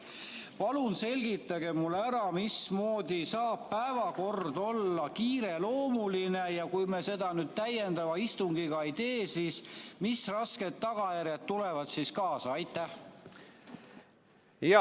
Palun selgitage mulle ära, mismoodi saab päevakord olla kiireloomuline ja kui me seda nüüd täiendava istungiga ei tee, mis rasked tagajärjed siis kaasa tulevad.